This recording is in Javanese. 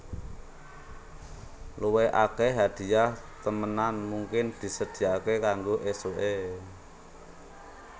Luwih akèh hadhiah temenan mungkin disedhiyakaké kanggo ésuké